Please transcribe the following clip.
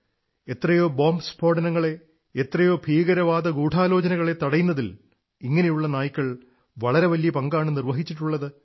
എത്രയോ ബോംബു സ്ഫോടനങ്ങളെ എത്രയോ ഭീകരവാദഗൂഢാലോചനകളെ തടയുന്നതിൽ ഇങ്ങനെയുള്ള നായ്ക്കൾ വളരെ വലിയ പങ്കാണു നിർവ്വഹിച്ചിട്ടുള്ളത്